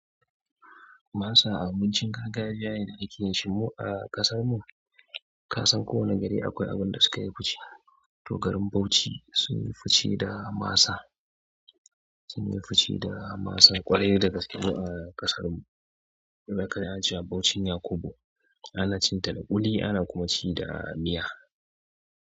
Masa a abincin gargajiya yana aiki shimu a ƙasar mu, kasan ko wane gari akwai abin da sukayi fice. Toh good arin Bauchi sunyi fice da masa, sunyi fice da masa ƙwarai daga salo a ƙasar mu. Da ƙarshe ace Bauchi ne Yakubu, ana cin ta ƙuli ana kuma ci da miya.